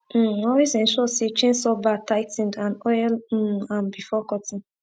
um always ensure say chainsaw bar tigh ten ed and oil um am before cutting